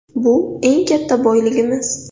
Bu eng katta boyligimiz.